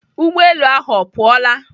Ụgbọelu ahụ ọ pụọla?